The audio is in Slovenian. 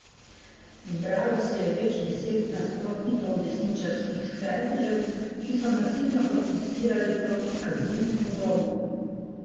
Zbralo se je več deset nasprotnikov desničarskih skrajnežev, ki so nasilno protestirali proti azilnemu domu.